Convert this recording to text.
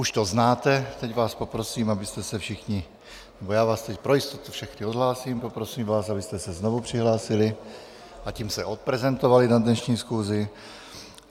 Už to znáte, teď vás poprosím, abyste se všichni, nebo já vás teď pro jistotu všechny odhlásím, poprosím vás, abyste se znovu přihlásili, a tím se odprezentovali na dnešní schůzi.